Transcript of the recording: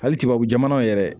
Hali tubabu jamanaw yɛrɛ